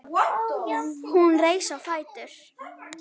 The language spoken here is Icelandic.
Hún reis á fætur.